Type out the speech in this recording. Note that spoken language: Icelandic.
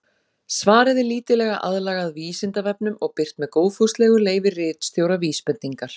Svarið er lítillega aðlagað Vísindavefnum og birt með góðfúslegu leyfi ritstjóra Vísbendingar.